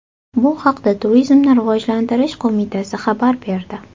Bu haqda Turizmni rivojlantirish qo‘mitasi xabar berdi .